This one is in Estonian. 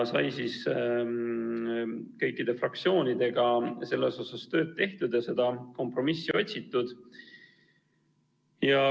Kõikide fraktsioonidega sai selles osas tööd tehtud ja seda kompromissi otsitud.